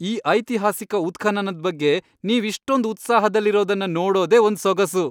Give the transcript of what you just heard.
ಈ ಐತಿಹಾಸಿಕ ಉತ್ಖನನದ್ ಬಗ್ಗೆ ನೀವ್ ಇಷ್ಟೊಂದ್ ಉತ್ಸಾಹದಲ್ಲಿರೋದನ್ನ ನೋಡೋದೇ ಒಂದ್ ಸೊಗಸು!